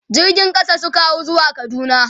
jirgin ƙasa Suka hau zuwa kaduna